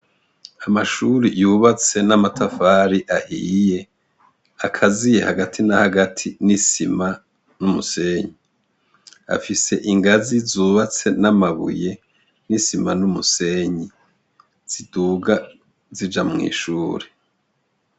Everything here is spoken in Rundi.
Amashure yubatse n'amatafari akatiye hagati na hagati n'isima n'umusenyi. Afise ingazi zubatse n'amabuye, n'isima n'umusenyi ziduga zija mw'ishure.